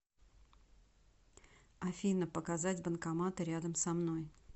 афина показать банкоматы рядом со мной